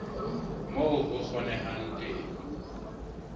moo ho kgonehang ka teng